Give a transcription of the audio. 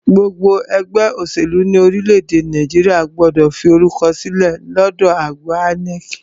Gbogbo ẹgbẹ́ òṣèlú ní orílẹ̀-èdè Nàìjíríà gbọ́dọ̀ fi orúkọ sílẹ̀ lọ́dọ àjọ INEC.